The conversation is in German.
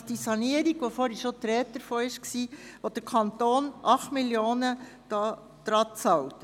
Es handelt sich um die Sanierung, von welcher schon die Rede war, und zu welcher der Kanton 8 Mio. Franken beisteuert.